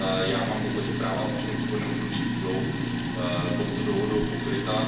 Já mám za to, že práva občanů v přechodném období budou touto dohodou pokryta.